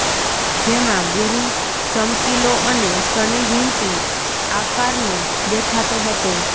જેમાં ગુરૂ ચમકીલો અને શનિ વીંટીં આકારનો દેખાતો હતો